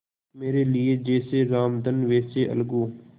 मेरे लिए जैसे रामधन वैसे अलगू